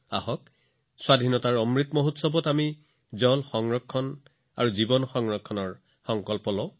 আমি স্বাধীনতাৰ অমৃত মহোৎসৱত পানী সংৰক্ষণ আৰু জীৱন ৰক্ষাৰ প্ৰতিশ্ৰুতি লওঁ আহক